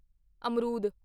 ਅਮਰੂਦ